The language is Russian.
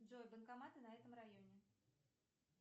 джой банкоматы на этом районе